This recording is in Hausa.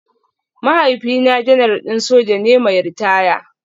Mahaifina Janar din soja ne mai ritaya